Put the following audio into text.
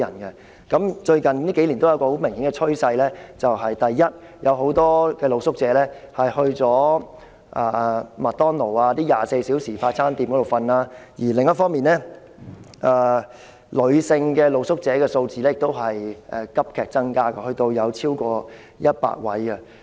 而最近數年有一個很明顯的趨勢：第一，有很多露宿者走到一些24小時營業的快餐店那裏睡覺；第二，女性露宿者的數字亦急增至逾100名。